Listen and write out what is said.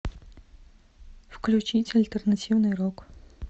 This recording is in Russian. включить альтернативный рок